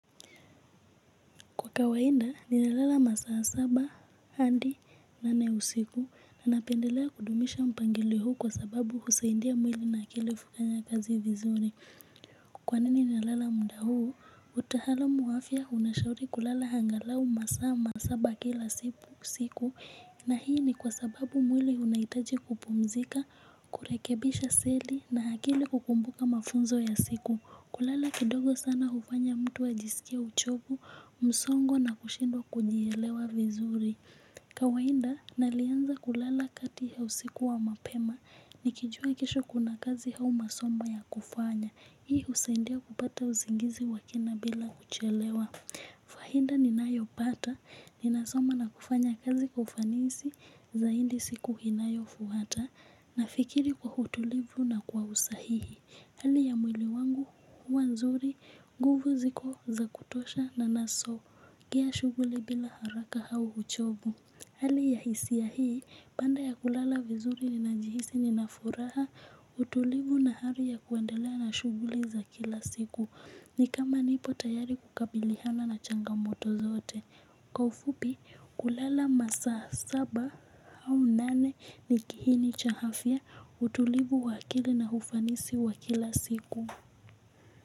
Kwa kawaida ni nalala masaa saba hadi nane usiku na napendelea kudumisha mpangilio huu kwa sababu husaidia mwili na akili kufanya kazi vizuri. Kwa nini nalala muda huu? Utaalamu wa afya unashauri kulala angalau masaa ma saba kila siku na hii ni kwa sababu mwili unahitaji kupumzika, kurekebisha seli na akili kukumbuka mafunzo ya siku. Kulala kidogo sana hufanya mtu wa jisikie uchovu, msongo na kushindwa kujielewa vizuri. Kawaida, nalianza kulala kati ya usiku wa mapema, nikijua kesho kuna kazi au masomo ya kufanya. Hii husaidia kupata uzingizi wa kina bila kuchelewa. Faida ninayopata, ninasoma na kufanya kazi kwa ufanisi, zaidi siku inayofuata, na fikiri kwa utulivu na kwa usahihi. Hali ya mwili wangu huwa nzuri, nguvu ziko za kutosha na nasongea shughuli bila haraka au uchovu. Hali ya hisia hii baada ya kulala vizuri nina jihisi nina furaha utulivu na hali ya kuandelea na shughuli za kila siku. Ni kama nipo tayari kukabiliana na changamoto zote. Kwa ufupi kulala masaa saba au nane ni kiini cha afya utulivu wa akili na ufanisi wa kila siku.